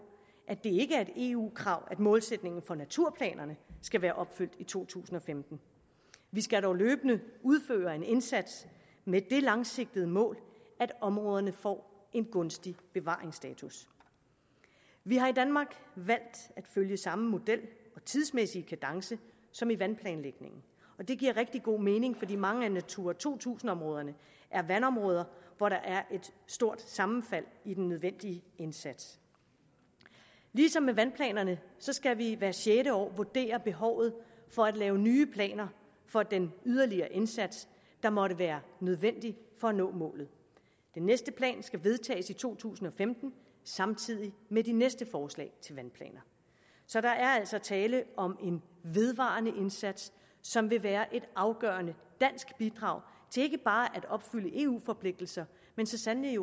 at det ikke er et eu krav at målsætningen for naturplanerne skal være opfyldt i to tusind og femten vi skal dog løbende udføre en indsats med det langsigtede mål at områderne får en gunstig bevaringsstatus vi har i danmark valgt at følge samme model og tidsmæssige kadence som i vandplanlægningen og det giver rigtig god mening fordi mange af natura to tusind områderne er vandområder og der er et stort sammenfald i den nødvendige indsats ligesom med vandplanerne skal vi hvert sjette år vurdere behovet for at lave nye planer for den yderligere indsats der måtte være nødvendig for at nå målet den næste plan skal vedtages i to tusind og femten samtidig med de næste forslag til vandplaner så der er altså tale om en vedvarende indsats som vil være et afgørende dansk bidrag til ikke bare at opfylde eu forpligtelser men så sandelig